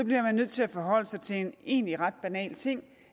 bliver man nødt til at forholde sig til en egentlig ret banal ting